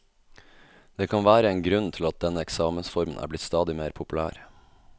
Det kan være én grunn til at denne eksamensformen er blitt stadig mer populær.